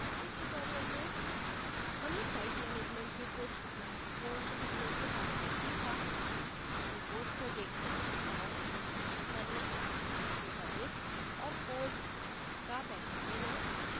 इस tutorial में हमने site management के कुछ महत्वपूर्ण पहलुओं के बारे में सीखाः रिपोर्ट्स को देखना और विश्लेषण करना database और code का बैकअप लेना